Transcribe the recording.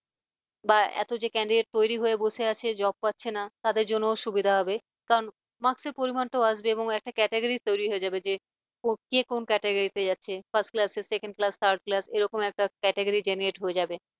বা এত যে candidate তৈরি হয়ে বসে আছে। job পাচ্ছে না তাদের জন্য সুবিধা হবে কারন marks এর পরিমাণটাও আসবে একটা category তৈরি হয়ে যাবে যে কে কোন category তে যাচ্ছে first class second class third class এরকম category candidate হয়ে যাবে।